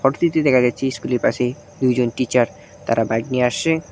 Photo -টিতে দেখা গেছে ইস্কুল -এর পাশে দুইজন টিচার তারা বাইক নিয়ে আসছে।